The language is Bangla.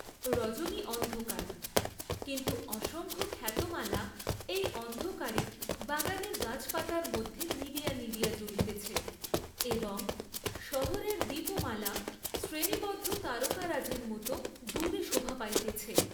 রজনী অন্ধকার, কিন্তু অসংখ্য খ্যাতমালা এই অন্ধকারে, বাগানের গাছপাতার মধ্যে নিবিয়া নিবিয়া জ্বলিতেছে, এবং শহরের দীপমালা শ্রেণীবদ্ধ তারকারাজির মত দূরে শোভা পাইতেছে।